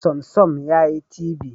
Samsung yayi TV